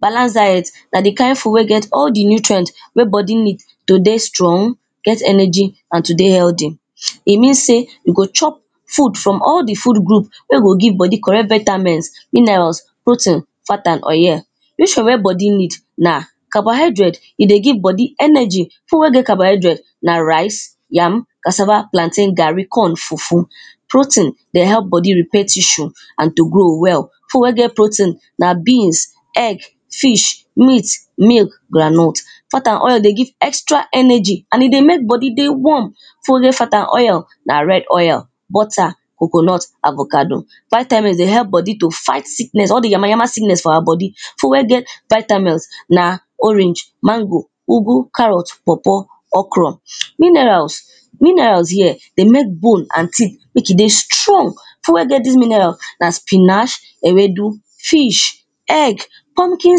Balance diet na di kind food wey get all di nutrient wey body need to dey strong, get energy and to dey healthy, e mean say we go chop food from all di food group wey go give body correct vetamins, minels, protein, fat and oyel. Which one wey body need na carbohydrate e dey give body energy, food wey get carbohydrate na rice, yam, cassava, plantain, garri, corn, fufu. Protein dey help body repair tissue and to grow well, food wey get protein na beans, egg, fish, meat, milk, groundnut. Fat and oil dey give extra energy and e dey mek body warm, food wey get fat and oyel na red oyel, butter, coconut, avocado. Vitemins dey help body to fight sickness, all di yama yama sickness for awa body, food wey get vitamels na orange, mango, ugu, carrot, paw paw, okro. Minerals minerals here dey mek bone and teeth mek e dey strong, food wey get dis minerals na spinach, ewedu, fish, egg, pumpkin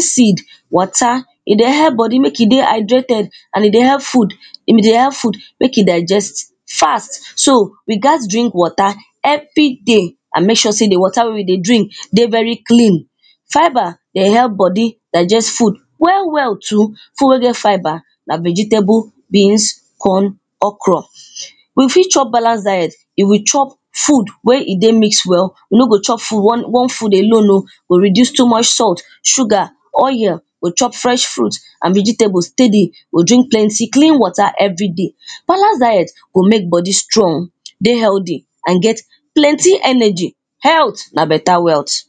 seed. Water, e dey help body mek e dey hydrated and e dey help food e dey help food mek e digest fast, so we gats drink water everyday, and mek sure say di water wey we dey drink dey very clean. Fibre dey help body digest food well well too, food wey get fibre na vegetable, beans, corn, okro. We fit chop balance diet, if we chop food wey e dey mix well, we no go chop food one food alone o, we go reduce too much salt, sugar, oyel, we go chop fresh fruits and vegetables steady dey drink plenty clean water everyday. Balance diet go mek body strong, dey healthy, get plenty energy. Health na better wealth